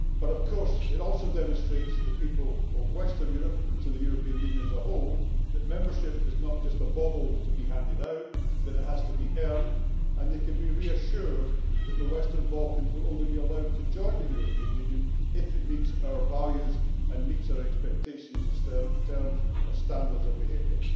Of course, it also demonstrates to the people of Western Europe and to the European Union as a whole that membership is not a mere bauble to be handed out, that it has to be earned, and they can be reassured that the Western Balkans will only be allowed to join the European Union if it meets our values and meets our expectations in terms of standards of behaviour.